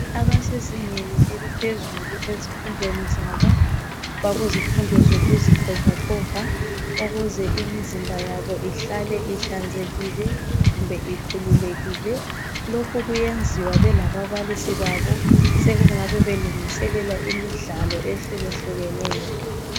Abasezingeni eliphezulu ezifundweni zabo bakuzifundo zokuzixovaxova ukuze imizimba yabo ihlale ihlanzekile kumbe ikhululekile. Lokhu kuyenziwa bela babalisi babo. Sekungabe belungiselela imidlalo eyehlukehlukeneyo.